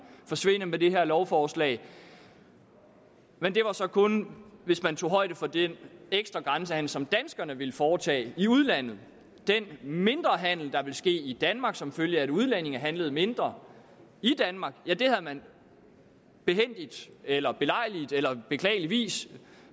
forsvinde med det her lovforslag men det var så kun hvis man tog højde for den ekstra grænsehandel som danskerne ville foretage i udlandet den mindre handel der ville ske i danmark som følge af at udlændinge handlede mindre i danmark havde man behændigt eller belejligt eller beklageligvis